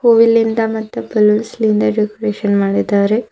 ಹೂವಿಲಿಂದ ಮತ್ತು ಬಲೂನ್ಸ್ ಲಿಂದ ಡೆಕೋರೇಷನ್ ಮಾಡಿದ್ದಾರೆ.